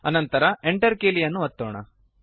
ಅನಂತರ Enter ಕೀಲಿಯನ್ನು ಒತ್ತಿರಿ